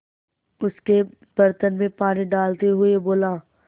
उसके बर्तन में पानी डालते हुए बोला